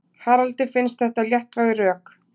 Haraldi finnst þetta léttvæg rök.